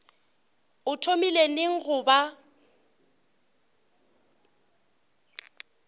o thomile neng go ba